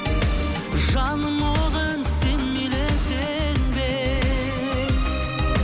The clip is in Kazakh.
жаным оған сен мейілі сенбе